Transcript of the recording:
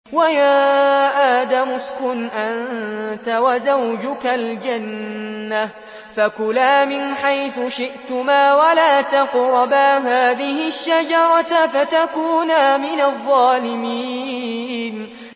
وَيَا آدَمُ اسْكُنْ أَنتَ وَزَوْجُكَ الْجَنَّةَ فَكُلَا مِنْ حَيْثُ شِئْتُمَا وَلَا تَقْرَبَا هَٰذِهِ الشَّجَرَةَ فَتَكُونَا مِنَ الظَّالِمِينَ